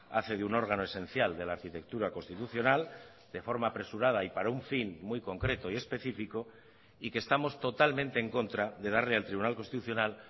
hace de un órgano esencial de la arquitectura constitucional de forma apresurada y para un fin muy concreto y específico y que estamos totalmente en contra de darle al tribunal constitucional